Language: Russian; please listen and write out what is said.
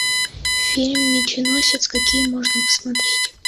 фильм меченосец какие можно посмотреть